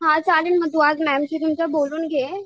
हा चालेल मग तू आज मॅमशी तुमच्या बोलून घे.